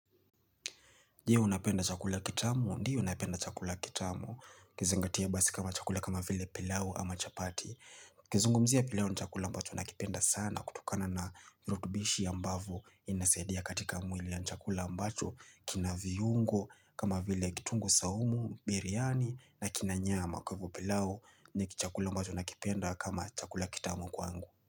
Je unapenda chakula kitamu? Je unapenda chakula kitamu. Kizengatia basi kama chakula kama vile pilau ama chapati. Kizungumzia pilau ni chakula ambacho nakipenda sana kutokana na virutubishi ambavyo inasadia katika mwili yani chakula ambacho kina viungo kama vile kitungu saumu, biryani na kinanyama kwa hivyo pilau ni kichakula ambacho nakipenda kama chakula kitamu kwangu.